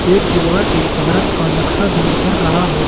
एक दीवार पे भारत का नक्शा भी उतर रहा है।